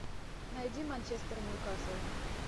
найди манчестер ньюкасл